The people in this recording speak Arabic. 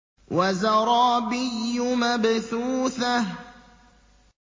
وَزَرَابِيُّ مَبْثُوثَةٌ